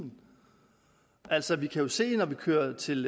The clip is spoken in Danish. altså vi kan jo se det når vi kører til